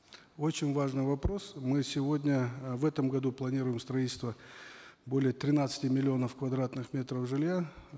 очень важный вопрос мы сегодня э в этом году планируем строительство более тринадцати миллионов квадратных метров жилья